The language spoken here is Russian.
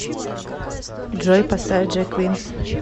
джой поставь джек винс